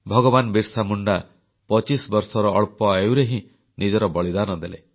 ଭଗବାନ ବିର୍ସାମୁଣ୍ଡା 25 ବର୍ଷର ଅଳ୍ପ ଆୟୁରେ ହିଁ ନିଜର ବଳିଦାନ ଦେଲେ